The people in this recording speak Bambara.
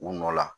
U nɔ la